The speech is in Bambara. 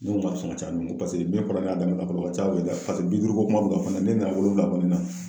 N'o ma sɔn ka ca n'o ye pase ne kɔrɔkɛ a da ni bakuruba ca boloda kaso bi duuru ko kuma be ka fɔ ne ye ne nana wolonwula kɔni na